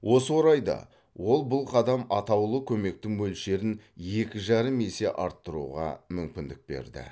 осы орайда ол бұл қадам атаулы көмектің мөлшерін екі жарым есе арттыруға мүмкіндік берді